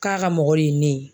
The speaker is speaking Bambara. K'a ka mɔgɔ ye ne ye